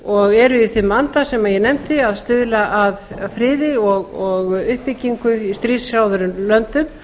og eru í þeim vanda sem ég nefndi að stuðla að friði og uppbyggingu í stríðshrjáðum löndum